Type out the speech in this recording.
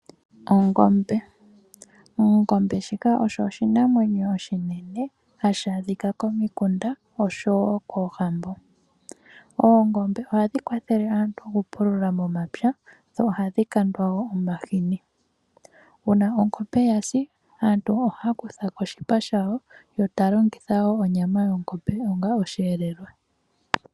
Ongombe osho ishinamwe oshinene hashi adhika komikunda nosho woo koohambo. Oongombe ohadhi kwathe aantu okupulula momapya dho ohadhi kandwa woo omahini. Uuna ongombe yasi aantu ohaya kuthako oshipa shawo yo taya longitha onyama yawo onga oshihelelwa.